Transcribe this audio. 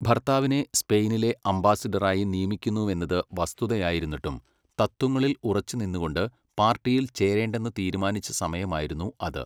ഭർത്താവിനെ സ്പെയിനിലെ അംബാസഡറായി നിയമിക്കുന്നുവെന്നത് വസ്തുതയായിരുന്നിട്ടും, തത്ത്വങ്ങളിൽ ഉറച്ചുനിന്നുകൊണ്ട് പാർട്ടിയിൽ ചേരേണ്ടെന്ന് തീരുമാനിച്ച സമയമായിരുന്നു അത്.